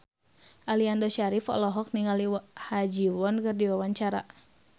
Aliando Syarif olohok ningali Ha Ji Won keur diwawancara